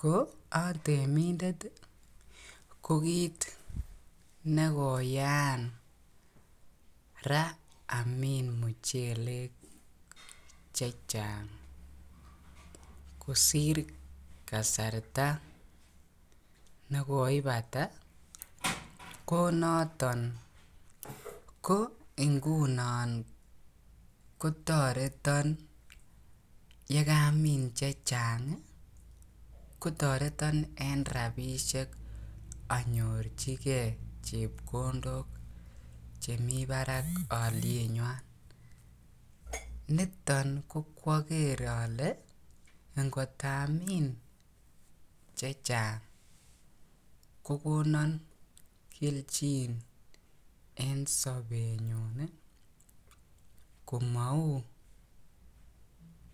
Koatemitendet ih ko kit nekoyaan Ra Amin muchelek chechang kosir kasarta nekoipata ko noton ki ingunon kotaretan en rabinik anyorchike chebkondok chemi barak alietnyuan niton ko koagere ale Ako angot Amin chechang kokonan kelchin en sabet nyun komauu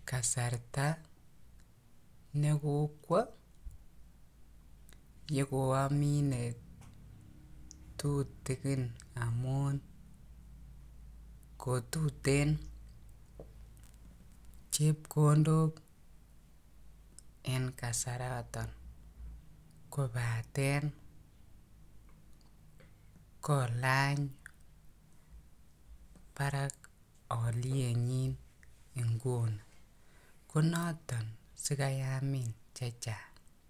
kasarta nekokwo yekoamine tutukin amun kotuten chebkondok en kasaran to kobaten kolany barak alietnyin inguni konato siamin chechang.